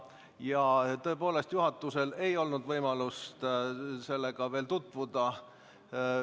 Ja tõepoolest, juhatusel ei ole olnud võimalust sellega veel tutvuda.